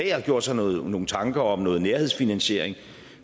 jeg har gjort sig nogle nogle tanker om noget nærhedsfinansiering